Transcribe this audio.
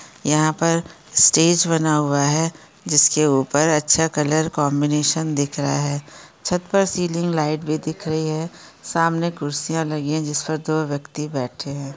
यहाँ पर स्टेज बना हुआ है। जिसके ऊपर अच्छा कलर कॉम्बिनेशन दिख रहा है। छत पर सीलिंग लाइट भी दिख रही है। सामने खुर्चिया लगी है जिस पर दो व्यक्ति बैठे है।